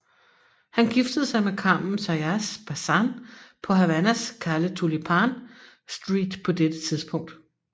Han giftede sig med Carmen Zayas Bazán på Havanas Calle Tulipán Street på dette tidspunkt